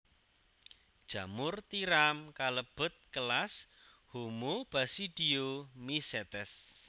Jamur tiram kalebet kelas Homobasidiomycetes